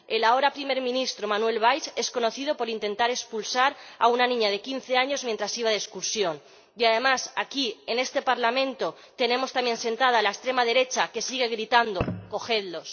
El ahora Primer Ministro francés, Manuel Valls, es conocido por intentar expulsar a una niña de quince años mientras iba de excursión, y además, aquí, en este Parlamento, tenemos también sentada a una extrema derecha que sigue gritando cogedlos.